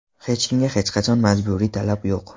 Hech kimga hech qanday majburiy talab yo‘q.